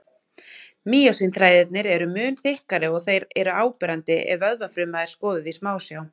Mýósín-þræðirnir eru mun þykkari og þeir eru áberandi ef vöðvafruma er skoðuð í smásjá.